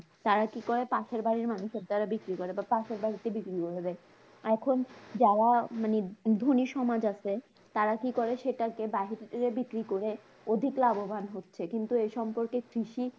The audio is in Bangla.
তারা কি করে? পাশের বাড়ীর মানুষের দ্বার বিক্রি করে বা পাশের বাড়িতে বিক্রি করে দেয়, এখন যারা মানে ধনি সমাজ আছে, তার কি করে? সেটা কে বাহিরে বিক্রি করে অধিক লাভবান হচ্ছে কিন্তু এ সম্পর্কে কৃষি